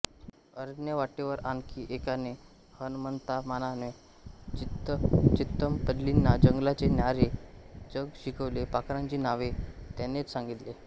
अरण्यवाटेवर आणखी एकाने हणमंतामामाने चितमपल्लींना जंगलाचे न्यारे जग शिकवले पाखरांची नावे त्यानेच सांगितली